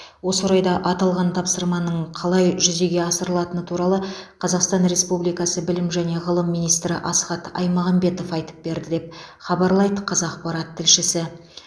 осы орайда аталған тапсырманың қалай жүзеге асырылатыны туралы қазақстан республикасы білім және ғылым министрі асхат айтмағамбетов айтып берді деп хабарлайды қазақпарат тілшісі